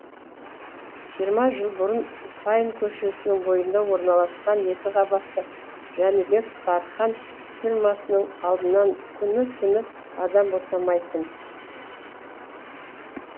жиырма жыл бұрын сайын көшесінің бойында орналасқан екі қабатты жәнібек тархан фирмасының алдынан күні түні адам босамайтын